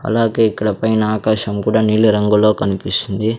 అలాగే ఇక్కడ పైన ఆకాశం కూడా నీలిరంగులో కనిపిస్తుంది.